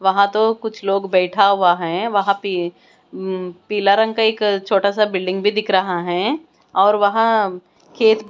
वहाँ तो कुछ लोग बैठा हुआ है वहाँ पे उम पीला रंग का एक छोटा सा बिल्डिंग भी दिख रहा है और वहाँ खेत--